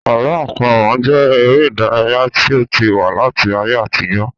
Àlọ àpamọ jẹ èrè ìdárayá tí ó ti wà láti ayé àtijó